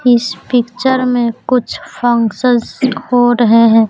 इस पिक्चर में कुछ फंक्शन हो रहे हैं।